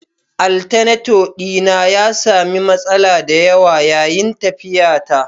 Alternator dina ya sami matsala da yawa yayin tafiyata